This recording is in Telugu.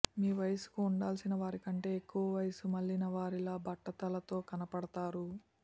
మీ వయస్సుకు ఉండాల్సిన వారికంటే ఎక్కువ వయస్సు మళ్లినవారిలా బట్టతలతో కనబడుతారు